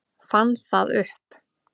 Fann það upp.